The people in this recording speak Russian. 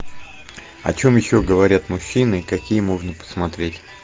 о чем еще говорят мужчины какие можно посмотреть